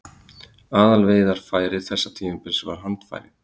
Aðalveiðarfæri þessa tímabils var handfæri.